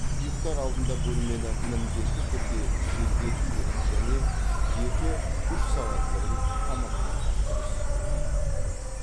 ұйықтар алдында бөлмені міндетті түрде желдету керек және екі үш сағат бұрын тамақтанған дұрыс